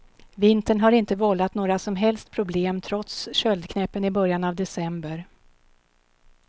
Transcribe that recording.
Vintern har inte vållat några som helst problem trots köldknäppen i början av december.